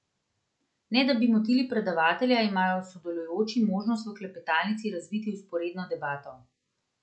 Ne da bi motili predavatelja, imajo sodelujoči možnost v klepetalnici razviti vzporedno debato.